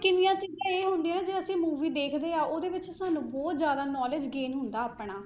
ਕਿੰਨੀਆਂ ਕਿੰਨੀਆਂ ਇਹ ਹੁੰਦੀਆਂ ਜੇ ਅਸੀਂ movie ਦੇਖਦੇ ਹਾਂ, ਉਹਦੇ ਵਿੱਚ ਸਾਨੂੰ ਬਹੁਤ ਜ਼ਿਆਦਾ knowledge gain ਹੁੰਦਾ ਆਪਣਾ।